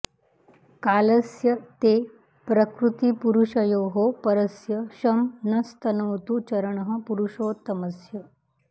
कालस्य ते प्रकृतिपूरुषयोः परस्य शं नस्तनोतु चरणः पुरुषोत्तमस्य